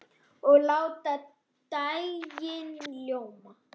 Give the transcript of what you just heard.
Og láta dægrin ljóma.